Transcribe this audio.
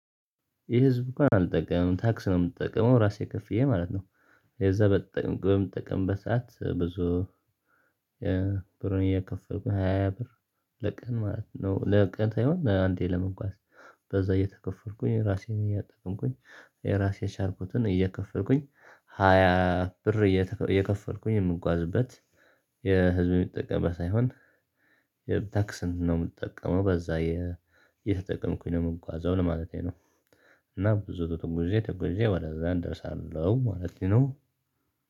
የህ ህዝብ እንኳን አልጠቀምም ታክስ ነው የምትጠቅመው ራሴ ከፍዬ ማለት ነው። የዛ በጠቅም በምጠቀምብት ሰዓት ብዙ። ብሩን እየከፈቱ ሃያ ብር ለቀን ማለት ነው ለቀን ሳይሆን በአንዴ ለመንጓዝ በዛ እየተከፈልኩኝ ራሴን እያጠቀምኩኝ። ራሴ የሻርኩትን እየከፈርኩኝ ሃያ ብር እየከፈልኩኝ የምጓዝበት የህዝብ የሚጠቀምበት ሳይሆን። የታክስን ነው የምትጠቀመው በዛ የተጠቀምኩኝ ነው የምጓዘው ለማለቴ ነው። እና ብዙ ጉዞ ጊዜ ተጎዣ ወደዛ እደርሳለሁ ማለት ነው።